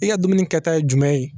I ka dumuni kɛta ye jumɛn ye